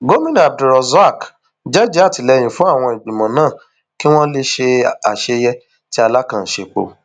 gomina abdulrozak jẹẹjẹ àtìlẹyìn fún àwọn ìgbìmọ náà kí wọn lè ṣe àṣeyẹ tí alákàn ń sèpò